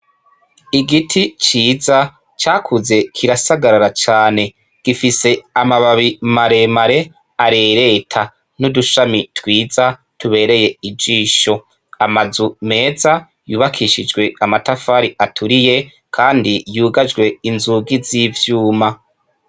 Igiti ciza cakuze kirasagarara cane gifise amababi maremare arereta n'udushami twiza tubereye ijisho, amazu meza yubakishijwe amatafari aturiye, kandi yugajwe inzugi z'ivyuma.